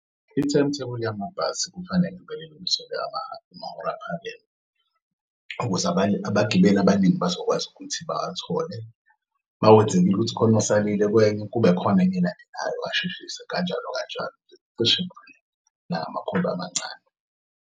I-timetable yamabhasi kufanele amahora aphakeme ukuze abagibeli abaningi bazokwazi ukuthi bawathole makwenzekile ukuthi ukhona osalile kwenye kube khona enye elandelayo basheshise kanjalo kanjalo zicishe amancane.